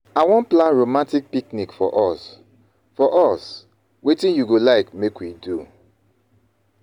I wan plan romatic picnic for us, for us, wetin you go like make we do